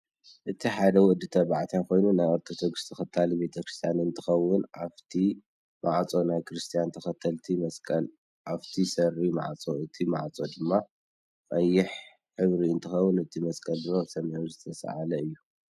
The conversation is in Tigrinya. እዚ ሓደ ወድ ተባዕታይ ኮይኑ ናይ አርቶደክስ ተክታሊ ቤተክርስትያን አንትከውን አፊቲ መዓፆ ናይ ክርስትያን ተከተልት መስቀል አፈቲ ሰሪ መዓፆ እቲ መዓፆ ድማ ቀይሕ ሕብሪ እንትከውን እቲ መስቀል ድማ ብሰማያዊ ዝተሳአለ እዩ።